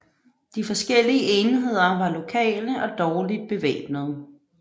De forskellige enheder var lokale og dårligt bevæbnede